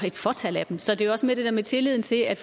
et fåtal af dem så det er jo også mere det der med tilliden til at